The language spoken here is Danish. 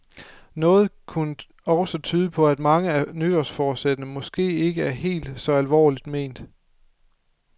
Noget kunne også tyde på, at mange af nytårsforsætterne måske ikke er helt så alvorligt ment.